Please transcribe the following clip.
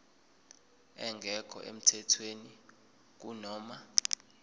engekho emthethweni kunoma